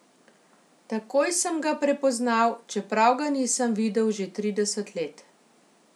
Takoj sem ga prepoznal, čeprav ga nisem videl že trideset let.